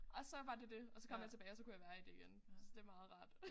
Og så var det det og så kom jeg tilbage og så kunne jeg være i det igen så det meget rart